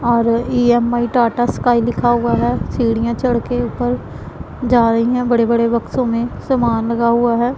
और EMI Tata sky लिखा हुआ है सीढ़ियां चढ़ के ऊपर जा रही है बड़े बड़े बक्सों में समान लगा हुआ है।